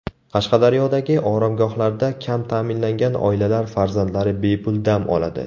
Qashqadaryodagi oromgohlarda kam ta’minlangan oilalar farzandlari bepul dam oladi.